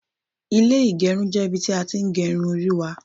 ile igerun je ibi ti a tin ge irun ori wa